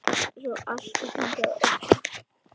Svo allt gangi að óskum.